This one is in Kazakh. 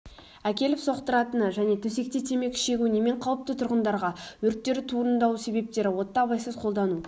әкеліп соқтыратыны және төсекте темекі шегу немен қаупті тұрғындарға өрттер туындау себептері отты абайсыз қолдану